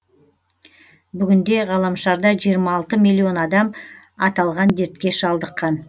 бүгінде ғаламшарда жиырма алты млн адам аталған дертке шалдыққан